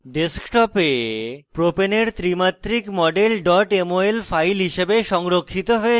desktop এ propane propane এর ত্রি মাত্রিক model mol file হিসাবে সংরক্ষিত হয়েছে